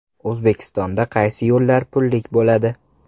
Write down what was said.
O‘zbekistonda qaysi yo‘llar pullik bo‘ladi?.